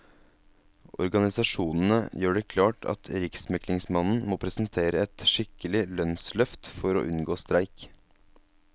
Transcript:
Organisasjonene gjør det klart at riksmeglingsmannen må presentere et skikkelig lønnsløft for å unngå streik.